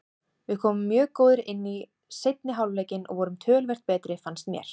Við komum mjög góðir inn í seinni hálfleikinn og vorum töluvert betri fannst mér.